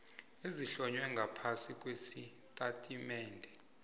ezihlonywe ngaphasi kwesitatimende